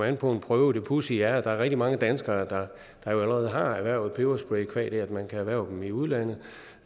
an på en prøve det pudsige er at der er rigtig mange danskere der allerede har erhvervet en peberspray qua det at man kan erhverve den i udlandet